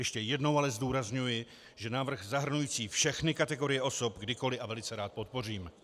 Ještě jednou ale zdůrazňuji, že návrh zahrnující všechny kategorie osob kdykoliv a velice rád podpořím.